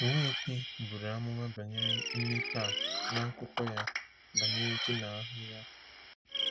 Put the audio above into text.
Nweke buru amụma banyere mmepe a n’akụkọ ya banyere ji na ahịhịa.